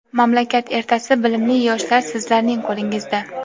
Mamlakat ertasi bilimli yoshlar - sizlarning qo‘lingizda.